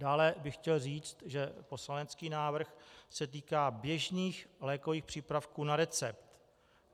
Dále bych chtěl říct, že poslanecký návrh se týká běžných lékových přípravků na recept.